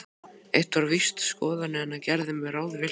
Eitt var víst: Skoðanir hennar gerðu mig ráðvillta.